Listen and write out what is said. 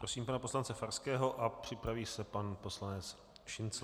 Prosím pana poslance Farského a připraví se pan poslanec Šincl.